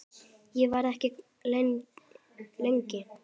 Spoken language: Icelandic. Ég verð ekki lengi